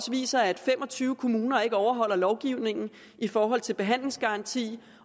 viser at fem og tyve kommuner ikke overholder lovgivningen i forhold til behandlingsgaranti